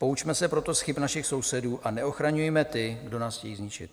Poučme se proto z chyb našich sousedů a neochraňujme ty, kdo nás chtějí zničit.